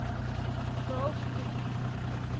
ralph links